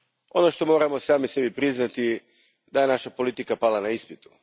Ono što moramo sami sebi priznati jest da je naša politika pala na ispitu.